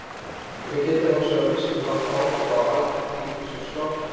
Þau geta hins vegar vissulega haft áhrif á aðgengi ríkissjóðs að lánsfé.